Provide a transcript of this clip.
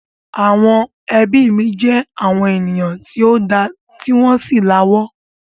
Àwọn ẹbí mi jẹ àwọn ènìyàn tí o da ti wọn sì la'wó.